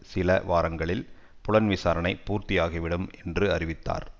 சில வாரங்களில் புலன் விசாரனை பூர்த்தியாகிவிடும் என்று அறிவித்தார்